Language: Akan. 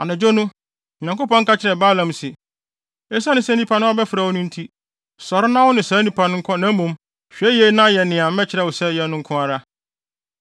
Anadwo no, Onyankopɔn ka kyerɛɛ Balaam se, “Esiane sɛ nnipa no abɛfrɛ wo no nti, Sɔre na wo ne saa nnipa no nkɔ na mmom, hwɛ yiye na yɛ nea mɛkyerɛ wo sɛ yɛ no nko ara.”